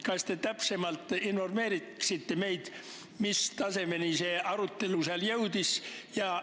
Kas te informeeriksite meid täpsemalt, mis tasemele seal see arutelu jõudis?